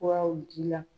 Furaw ji la